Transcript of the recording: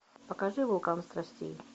покажи вулкан страстей